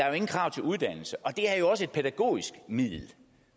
jo ingen krav til uddannelsen og det er også et pædagogisk middel